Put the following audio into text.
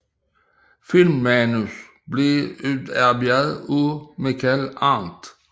Filmmanus blev udarbejdet af Michael Arndt